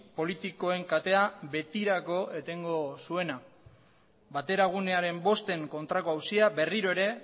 politikoen katea betirako etengo zuena bateragunearen bosten kontrako auzia berriro ere